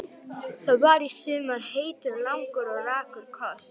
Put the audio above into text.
Það var í sumar heitur, langur og rakur koss.